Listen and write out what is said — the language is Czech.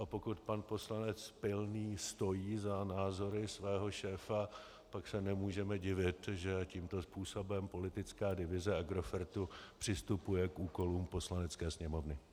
A pokud pan poslanec Pilný stojí za názory svého šéfa, tak se nemůžeme divit, že tímto způsobem politická divize Agrofertu přistupuje k úkolům Poslanecké sněmovny.